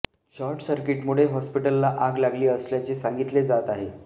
short सर्किटमुळे हॉस्पिटलला आग लागली असल्याचे सांगितले जात आहे